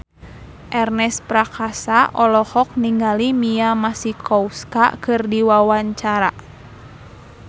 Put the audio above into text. Ernest Prakasa olohok ningali Mia Masikowska keur diwawancara